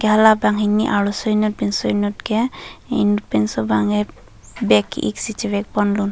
enke hala banghini arloso inut pinso inut ke pinso bangke bag ki ik si chevek ponlun.